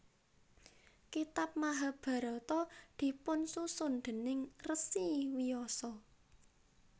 Kitab Mahabharata dipunsusun déning Rsi Wyasa